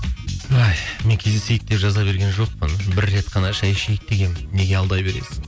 ай мен кездесейік деп жаза берген жоқпын бір рет қана шай ішейік дегенмін неге алдай бересің